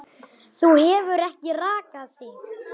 Þú hefur ekki rakað þig.